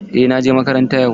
Eh na je makaranta yau.